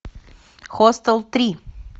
хостел три